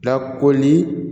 Lakoli